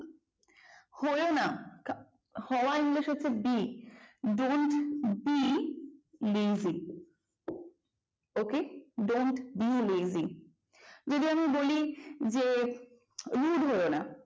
হয়ো না হওয়া english হচ্ছে be don't lazy it ok don't be lazy যদি আমি বলি যে rough হয়ো না